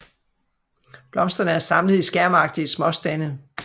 Blomsterne er samlet i skærmagtige småstande